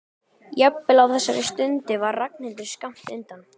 Jafnvel á þessari stundu var Ragnhildur skammt undan.